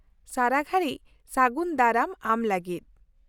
ᱥᱟᱨᱟᱜᱷᱟᱹᱲᱤᱡ ᱥᱟᱹᱜᱩᱱ ᱫᱟᱨᱟᱢ ᱟᱢ ᱞᱟᱹᱜᱤᱫ ᱾